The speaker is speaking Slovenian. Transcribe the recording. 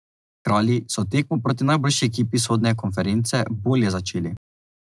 Kralji so tekmo proti najboljši ekipi vzhodne konference bolje začeli.